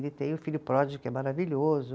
Ele tem o Filho Pródigo, que é maravilhoso.